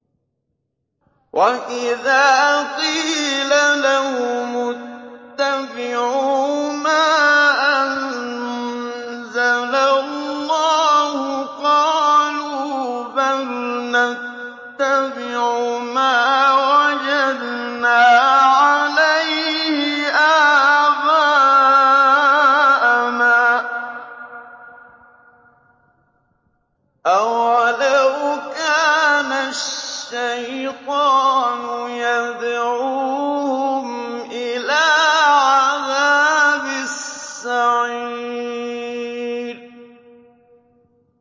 وَإِذَا قِيلَ لَهُمُ اتَّبِعُوا مَا أَنزَلَ اللَّهُ قَالُوا بَلْ نَتَّبِعُ مَا وَجَدْنَا عَلَيْهِ آبَاءَنَا ۚ أَوَلَوْ كَانَ الشَّيْطَانُ يَدْعُوهُمْ إِلَىٰ عَذَابِ السَّعِيرِ